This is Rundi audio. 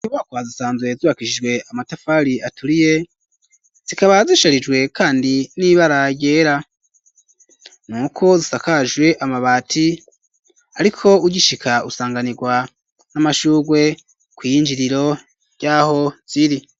Izi nyubakwa zisanzwe zubakishijwe amatafari aturiye, zikaba zisharijwe kandi n'iba ryera, nuko zisakajwe amabati ,ariko ugishika usanganirwa n'amashugwe kw'iyinjiriro ry'aho ziri.